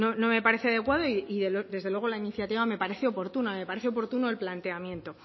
no me parece adecuado y desde luego la iniciativa me parece oportuna me parece oportuno el planteamiento